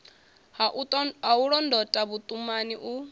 ha u londota vhuṱumani u